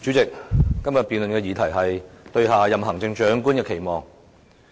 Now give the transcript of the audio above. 主席，今天的辯論議題是"對下任行政長官的期望"。